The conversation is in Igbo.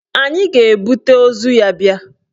Anyị ga-ebute ozu ya bịa.